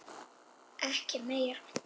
Ekki meira.